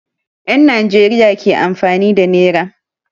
Yan Nijeriya ke amfani da nera